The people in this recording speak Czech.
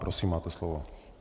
Prosím, máte slovo.